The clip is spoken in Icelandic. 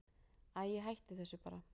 Æi, hættu þessu bara.